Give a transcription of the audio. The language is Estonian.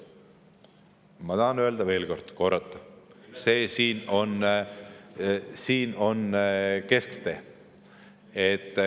Ma tahan öelda veel kord, korrata: see siin on kesktee.